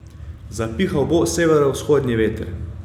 Zapihal bo severovzhodni veter.